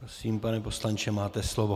Prosím, pane poslanče, máte slovo.